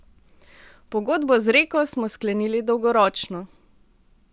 Pogodbo z Reko smo sklenili dolgoročno.